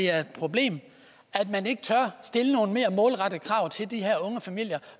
er et problem at man ikke tør stille nogle mere målrettede krav til de her unge familier